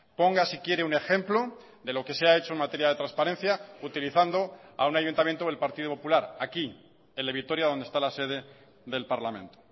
ponga si quiere un ejemplo de lo que se ha hecho en materia de transparencia utilizando a un ayuntamiento del partido popular aquí el de vitoria donde está la sede del parlamento